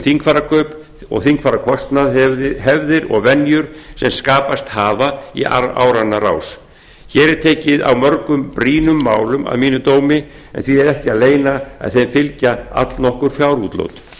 þingfararkaup og þingfararkostnað hefðir og venjur sem skapast hafa í áranna rás hér er tekið á mörgum brýnum málum að mínum dómi en því er ekki að leyna að þeim fylgja allnokkur fjárútlát